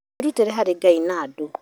Wĩrutĩre harĩ Ngai na andũ